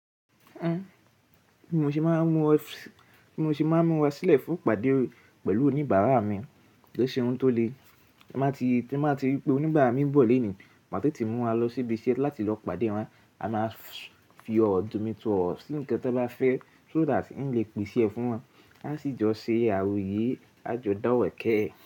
Ẹn, bi mo ṣe máa mú ọ, mo ṣe máa mú rà sílẹ̀ fún ìpàdé pẹ̀lú oníbàárà mi, kò e ṣe ohun tó le. Tí a bá ti rí pé oníbàárà mi ń bọ̀ lónìí, màá tètè mú ra lọ síbi isẹ láti lọ pàdé wọn. A máa fi ọ̀rọ̀ jọmitooroo ọ̀rọ̀ sí nǹkan tí wọ́n bá fẹ́ so that ń lè pèsè e fún wọn. A sì jọ ṣe àròyé àjọdá òwe kè.